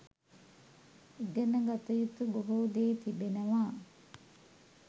ඉගෙන ගත යුතු බොහෝ දේ තිබෙනවා